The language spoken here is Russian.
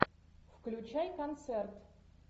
включай концерт